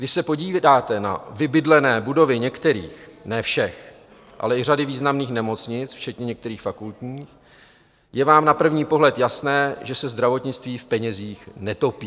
Když se podíváte na vybydlené budovy některých - ne všech, ale i řady významných nemocnic, včetně některých fakultních, je vám na první pohled jasné, že se zdravotnictví v penězích netopí.